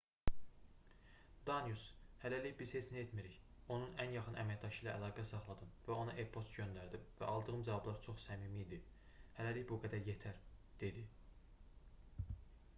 danius hələlik biz heç nə etmirik onun ən yaxın əməkdaşı ilə əlaqə saxladım və ona e-poçt göndərdim və aldığım cavablar çox səmimi idi hələlik bu qədər yetər dedi